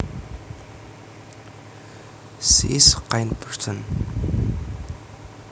She is a kind person